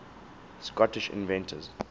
scottish inventors